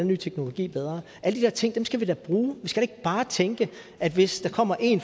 ny teknologi bedre alle de der ting skal vi da bruge vi skal da ikke bare tænke at hvis der kommer én